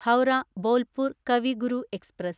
Howrah Bolpur Kavi Guru express